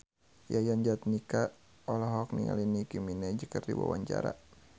Yayan Jatnika olohok ningali Nicky Minaj keur diwawancara